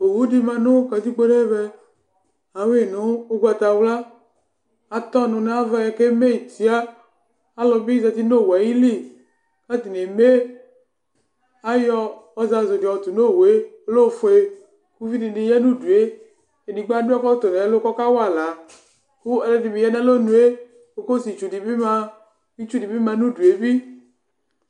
Uwu di ma nu katikpo nu ɛvɛ Ayui nu ugbatawla Atɔ nu nu ava yɛ ku eme tia Alu bi za uti nu owu yɛ ayili Ku atani eme Ayɔ ɔzazu di yɔ tu nu owu yɛ Ɔlɛ ɔfue Uvi dini ya nu udue Edigbo adu ɛkɔtɔ nu ɛlu ku ɔkawa aɣla Ku ɔlu ɛdi bi ya nu alɔ nu yɛ Ku ɔsietsu di bi ma ku itsu di bi ma nu udu yɛ bi